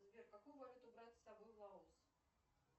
сбер какую валюту брать с собой в лаос